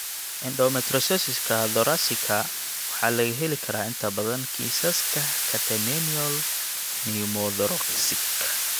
Endometriosiska thoracika waxaa laga heli karaa inta badan kiisaska catamenial pneumothoraxka.